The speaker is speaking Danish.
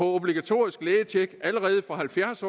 obligatorisk lægetjek allerede fra halvfjerds